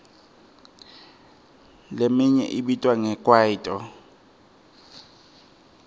leminye ibitwa nge kwaito